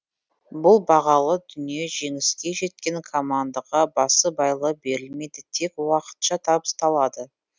бұл бағалы дүние жеңіске жеткен командаға басыбайлы берілмейді тек уақытша табысталады